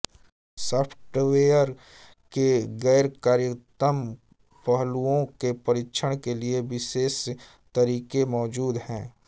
software के ग़ैरकार्यात्मक पहलुओं के परीक्षण के लिए विशेष तरीक़े मौजूद हैं